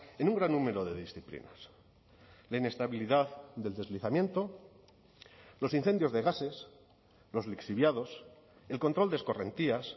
en un gran número de disciplinas la inestabilidad del deslizamiento los incendios de gases los lixiviados el control de escorrentías